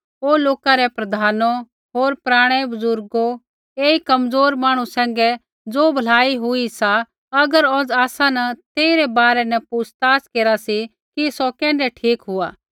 ओ लोका रै प्रधानो होर पराणै बजुर्गो ऐई कमज़ोर मांहणु सैंघै ज़ो भलाई हुई सा अगर औज़ आसा न तेई रै बारै न पुछ़ताछ केरा सी कि सौ कैण्ढै ठीक हुआ